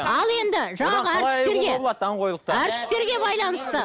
ал енді жаңағы әртістерге әртістерге байланысты